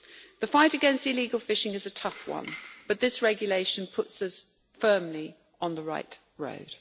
The fight against illegal fishing is a tough one, but this Regulation puts us firmly on the right road.